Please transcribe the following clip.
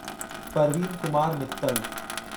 Parveen Kumar Mittal